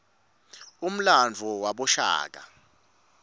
umlandvo wabashaka